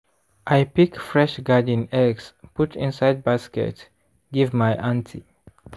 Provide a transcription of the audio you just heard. i pick fresh garden eggs put inside basket give my aunty.